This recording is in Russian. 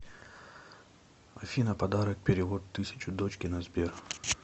афина подарок перевод тысячу дочке на сбер